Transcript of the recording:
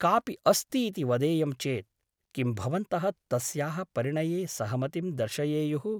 कापि अस्ति इति वदेयं चेत् किं भवन्तः तस्याः परिणये सहमतिं दर्शयेयुः ?